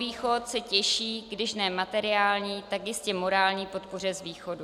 Jihovýchod se těší když ne materiální, tak jistě morální podpoře z východu.